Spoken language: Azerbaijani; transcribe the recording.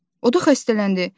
O da xəstələndi.